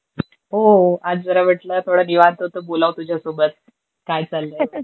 हो. आज जरा वाटलं थोड निवांत अस बोलावं तुझ्यासोबत. काय चाललंय? ter